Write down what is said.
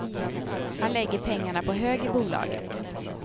Han lägger pengarna på hög i bolaget.